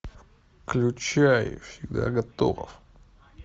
включай всегда готов